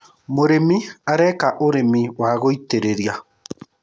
mũrĩmi areka ũrĩmi wa gũitĩrĩria